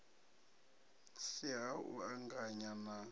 si ha u anganya na